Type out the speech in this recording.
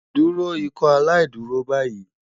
Duro Ikọaláìdúró bayi